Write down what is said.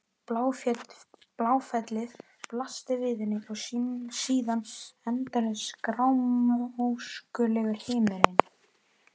Bláfellið blasti við henni og síðan endalaus grámóskulegur himinninn.